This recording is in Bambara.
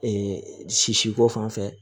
Ee sisiko fanfɛ